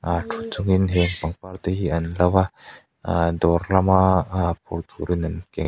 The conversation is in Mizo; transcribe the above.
ah thu chungin heng pangpar te hi an lo a aaah dawr lama ah phur turin an ken--